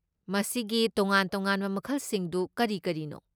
ꯃꯁꯤꯒꯤ ꯇꯣꯉꯥꯟ ꯇꯣꯉꯥꯟꯕ ꯃꯈꯜꯁꯤꯡꯗꯨ ꯀꯔꯤ ꯀꯔꯤꯅꯣ?